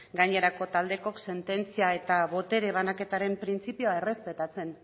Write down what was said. gainerako taldeok sententzia eta botere banaketaren printzipioa errespetatzen